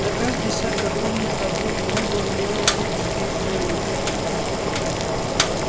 на каждый шаг огромных сапог друга он делал три-четыре своих